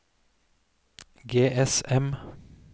GSM